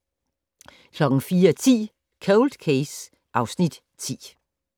04:10: Cold Case (Afs. 10)